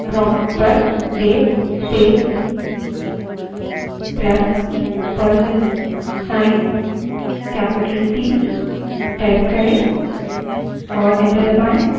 prompt पर date space plus percent sign capital t type करें और enter दबायें